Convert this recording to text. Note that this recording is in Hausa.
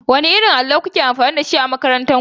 Wanne irin allo kuke amfani da shi a makarantar ku?